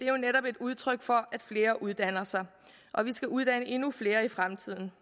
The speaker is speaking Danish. jo netop et udtryk for at flere uddanner sig og vi skal uddanne endnu flere i fremtiden